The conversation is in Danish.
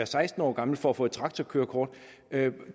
seksten år gammel for at få et traktorkørekort